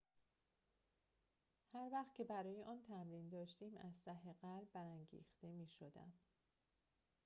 هر وقت که برای آن تمرین داشتیم از ته قلب برانگیخته می‌شدم